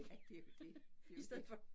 Ja det jo det det jo det